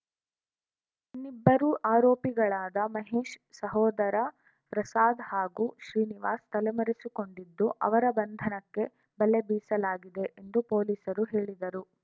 ಇನ್ನಿಬ್ಬರು ಆರೋಪಿಗಳಾದ ಮಹೇಶ್‌ ಸಹೋದರ ಪ್ರಸಾದ್‌ ಹಾಗೂ ಶ್ರೀನಿವಾಸ್‌ ತಲೆಮರೆಸಿಕೊಂಡಿದ್ದು ಅವರ ಬಂಧನಕ್ಕೆ ಬಲೆ ಬೀಸಲಾಗಿದೆ ಎಂದು ಪೊಲೀಸರು ಹೇಳಿದರು